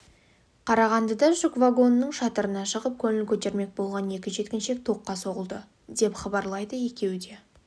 қарағандыда жүк вагонының шатырына шығып көңіл көтермек болған екі жеткіншек тоққа соғылды деп хабарлайды екеуі де